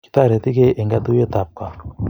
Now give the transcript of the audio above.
Kitoretigei eng katuiyet ab kaa